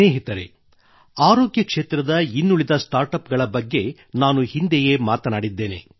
ಸ್ನೇಹಿತರೆ ಆರೋಗ್ಯ ಕ್ಷೇತ್ರದ ಇನ್ನುಳಿದ ಸ್ಟಾರ್ಟ್ ಅಪ್ ಗಳ ಬಗ್ಗೆ ನಾನು ಹಿಂದೆಯೇ ಮಾತನಾಡಿದ್ದೇನೆ